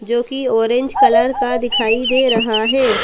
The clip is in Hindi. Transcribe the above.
जोकि ऑरेंज कलर का दिखाई दे रहा है।